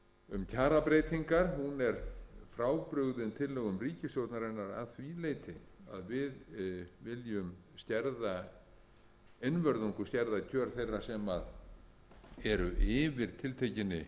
um kjarabreytingar er frábrugðin tillögum ríkisstjórnarinnar að því leytinu að við viljum einvörðungu skerða kjör þeirra sem eru yfir tiltekinni